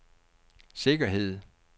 sikkerhed